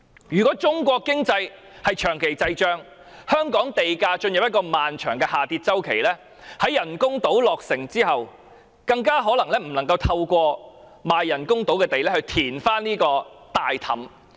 如果中國經濟長期滯脹，以致香港地價進入漫長下跌周期的話，在人工島落成後，可能無法透過人工島賣地收入填補這個黑洞。